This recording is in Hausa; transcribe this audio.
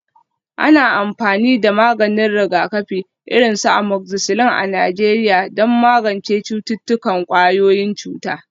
Ana amfani da maganin rigakafi, irin su amoxicillin a Najeriya don magance cututtukan ƙwayoyin cuta.